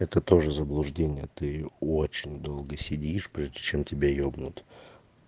это тоже заблуждение ты очень долго сидишь прежде чем тебя ебнуть